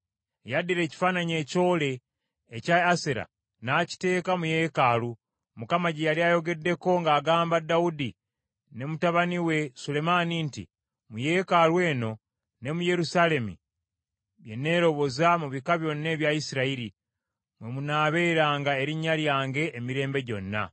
Yaddira ekifaananyi ekyole ekya Asera n’akiteeka mu yeekaalu, Mukama gye yali ayogeddeko ng’agamba Dawudi ne mutabani we Sulemaani nti, “Mu Yeekaalu eno ne mu Yerusaalemi, bye nneeroboza mu bika byonna ebya Isirayiri, mwe munaabeeranga erinnya lyange emirembe gyonna.